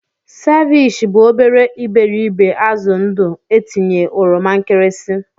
Ceviche bụ obere iberibe azụ ndụ etinye oroma nkirisi.